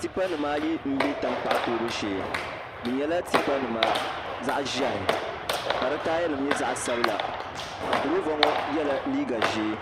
Tipa nimaayi n bɛ tankpaɣu toobu shee bi nyɛla tipa nim zaɣ ʒiɛhi ka di taaya nim nyɛ zaɣ sabila durova ŋo yɛla liiga ʒiɛ